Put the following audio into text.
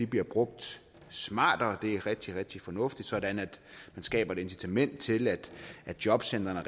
bliver brugt smartere det er rigtig rigtig fornuftigt sådan at vi skaber et incitament til at jobcentrene